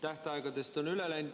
Tähtaegadest on see üle läinud.